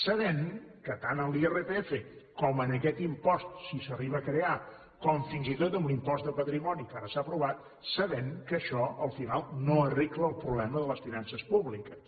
sabent que tant en l’irpf com en aquest impost si s’arriba a crear com fins i tot en l’impost de patrimoni que ara s’ha aprovat sabent que això al final no arregla el problema de les finances públiques